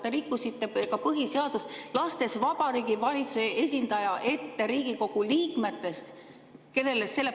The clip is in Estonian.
Te rikkusite põhiseadust, lastes Vabariigi Valitsuse esindaja ette Riigikogu liikmetest.